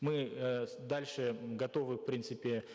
мы э дальше готовы в принципе